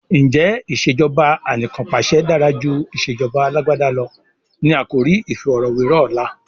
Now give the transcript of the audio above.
Ǹjẹ́ "ìsèjọba anìkanpàṣẹ dára jù ìsèjọba Alàgbàda lọ? " ni àkòrí iìfọ̀rọ̀wẹ́rọ̀ ọ̀la.